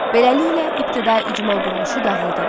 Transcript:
Beləliklə ibtidai icma quruluşu dağıldı.